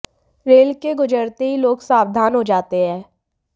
rail के गुजरते ही लोग सावधान हो जाते हैं